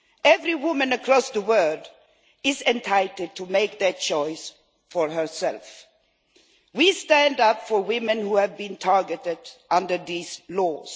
Every woman across the world is entitled to make her choice for herself. We stand up for women who have been targeted under these laws.